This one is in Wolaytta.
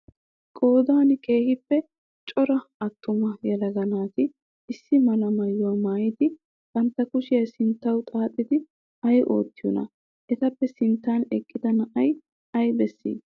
Qoodan keehippe cora attuma yelaaga naati issi mala maayyuwaa maayyidi bantta kushiyaa sinttawu xaaxidi ayi oottiyoonaa? Etappe sinttan eqqida na''ay ayi bessii?